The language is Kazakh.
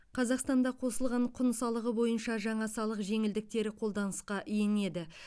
қазақстанда қосылған құн салығы бойынша жаңа салық жеңілдіктері қолданысқа енеді